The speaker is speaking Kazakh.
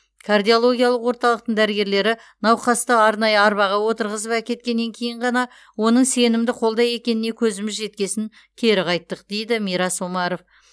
кардиологиялық орталықтың дәрігерлері науқасты арнайы арбаға отырғызып әкеткеннен кейін ғана оның сенімді қолда екеніне көзіміз жеткесін кері қайттық дейді мирас омаров